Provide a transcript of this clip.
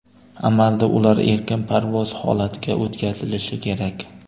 Amalda ular erkin parvoz holatiga o‘tkazilishi kerak.